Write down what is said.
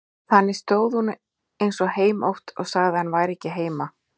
Þannig stóð hún eins og heimótt og sagði að hann væri ekki heima.